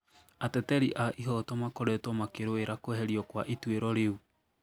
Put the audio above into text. Ateteri a ihoto makoretwo makĩrũĩrira kweherio kwa ĩtũĩro rĩu